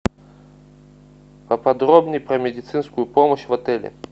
поподробнее про медицинскую помощь в отеле